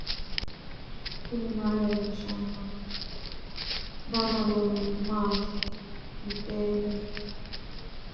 knuni maa leellishanno ? danano maati ? badheenni noori hiitto kuulaati ? mayi horo afirino ? kuni fichee leellishshanno egenshshiishi mayinniho